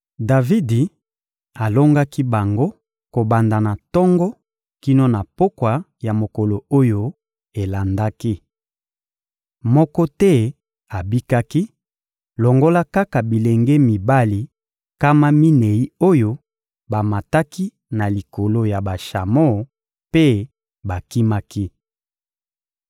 Davidi alongaki bango kobanda na tongo kino na pokwa ya mokolo oyo elandaki. Moko te abikaki, longola kaka bilenge mibali nkama minei oyo bamataki na likolo ya bashamo mpe bakimaki.